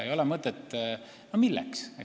Miks?